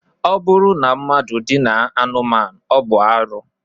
Ọ bụrụ na mmadụ dinaa anụmanụ, ọ bụ arụ